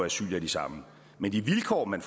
asyl er de samme men de vilkår man